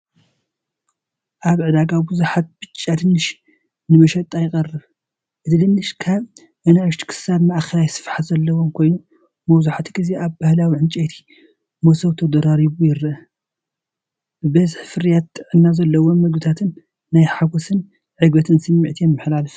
ኣብ ዕዳጋ ብዙሓት ብጫ ድንሽ ንመሸጣ ይቐርብ። እቲ ድንሽ ካብ ንኣሽቱ ክሳብ ማእከላይ ስፍሓት ዘለዎ ኮይኑ፡ መብዛሕትኡ ግዜ ኣብ ባህላዊ ዕንጨይቲ መሶብ ተደራሪቡ ይረአ። ብዝሒ ፍርያትን ጥዕና ዘለዎም መግብታትን ናይ ሓጎስን ዕግበትን ስምዒት የመሓላልፍ።